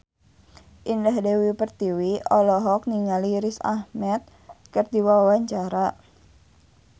Indah Dewi Pertiwi olohok ningali Riz Ahmed keur diwawancara